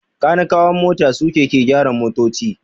Kanikawan mota suke ke gyara motoci.